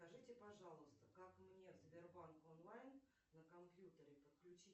скажите пожалуйста как мне в сбербанк онлайн на компьютере подключить